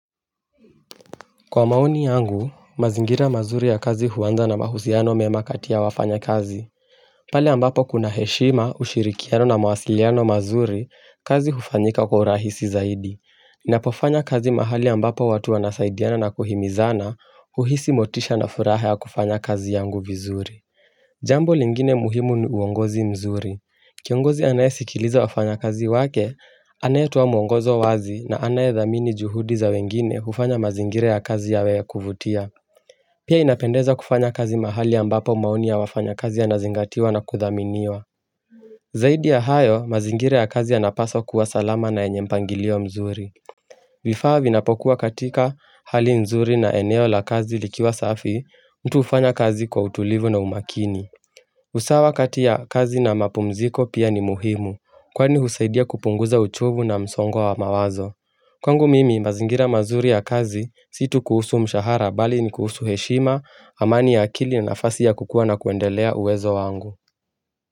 Kwa maoni yangu, mazingira mazuri ya kazi huanza na mahusiano mema kati ya wafanya kazi pale ambapo kuna heshima ushirikiano na mawasiliano mazuri kazi hufanyika kwa rahisi zaidi Napofanya kazi mahali ambapo watu wanasaidiana na kuhimizana uhisi motisha na furaha ya kufanya kazi yangu vizuri Jambo lingine muhimu ni uongozi mzuri Kiongozi anae sikiliza wafanya kazi wake, anaetoa mwongozo wazi na anae dhamini juhudi za wengine ufanya mazingira ya kazi yawe ya kuvutia Pia inapendeza kufanya kazi mahali ambapo maoni ya wafanya kazi yanazingatiwa na kuthaminiwa Zaidi ya hayo, mazingira ya kazi yanapaswa kuwa salama na yenye mpangilio mzuri vifaa vinapokuwa katika hali mzuri na eneo la kazi likiwa safi, mtu ufanya kazi kwa utulivu na umakini usawa katia kazi na mapumziko, pia ni muhimu Kwani husaidia kupunguza uchovu na msongo wa mawazo Kwangu mimi mazingira mazuri ya kazi si tu kuhusu mshahara bali ni kuhusu heshima amani ya akili na nafasi ya kukua na kuendelea uwezo wangu.